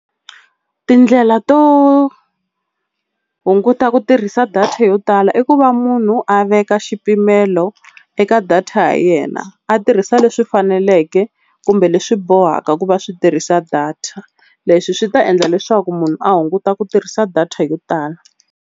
Tindlela to hunguta ku tirhisa data yo tala i ku va munhu a veka xipimelo eka data ya yena, a tirhisa leswi faneleke kumbe leswi bohaka ku va swi tirhisa data. Leswi swi ta endla leswaku munhu a hunguta ku tirhisa data yo tala.